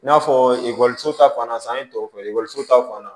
I n'a fɔ ekɔliso ta fan na san ye tɔw fɔ ekɔliso ta fan na